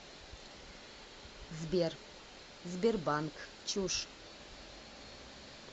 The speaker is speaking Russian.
сбер сбербанк чушь